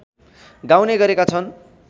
गाउने गरेका छन्